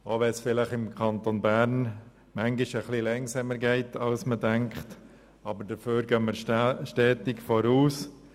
Es geht im Kanton Bern manchmal etwas langsamer vorwärts als man denkt, aber dafür gehen wir stetig weiter.